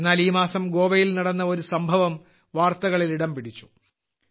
എന്നാൽ ഈ മാസം ഗോവയിൽ നടന്ന ഒരു സംഭവം വാർത്തകളിൽ ഇടംപിടിച്ചു